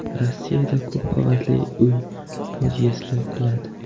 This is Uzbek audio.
Rossiyada ko‘p qavatli uy podyezdi quladi.